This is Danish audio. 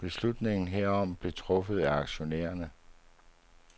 Beslutningen herom blev truffet af aktionærerne.